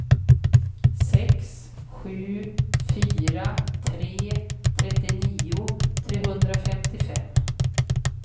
sex sju fyra tre trettionio trehundrafemtiofem